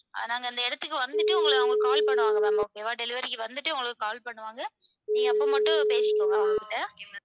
நாங்க அந்த இடத்துக்கு வந்துட்டு உங்கள உங்களுக்கு call பண்ணுவாங்க ma'am okay வா delivery க்கு வந்துட்டு உங்களுக்கு call பண்ணுவாங்க நீங்க அப்போ மட்டும் பேசிக்கோங்க.